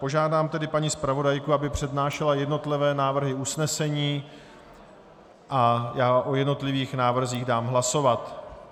Požádám tedy paní zpravodajku, aby přednášela jednotlivé návrhy usnesení a já o jednotlivých návrzích dám hlasovat.